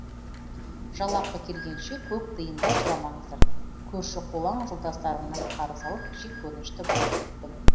жалақы келгенше көк тиын да сұрамаңыздар көрші қолаң жолдастарымнан қарыз алып жеккөрінішті болып біттім